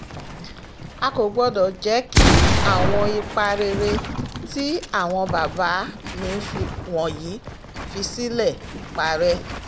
a kò gbọ́dọ̀ jẹ́ kí àwọn ipa rere tí àwọn bàbá mi wọ̀nyí fi sílẹ̀ parẹ́